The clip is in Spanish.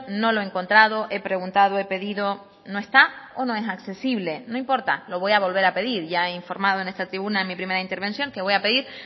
no lo he encontrado he preguntado he pedido no está o no es accesible no importa lo voy a volver a pedir ya he informado en esta tribuna en mi primera intervención que voy a pedir